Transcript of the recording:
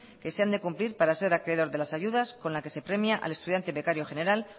que se han de cumplir para ser acreedor de las ayudas con la que se premia al estudiante becario general